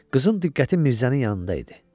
Qızın diqqəti Mirzənin yanında idi.